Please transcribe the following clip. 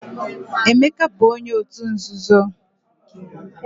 Emeka bu onye otu nzuzo